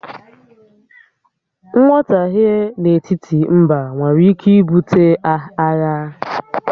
Nghọtahie n'etiti mbá nwèrè ike ibute àghà